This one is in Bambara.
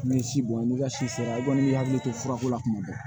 N'i ye si bɔn n'i ka si sera i kɔni b'i hakili to furakɔnɔ tuma bɛɛ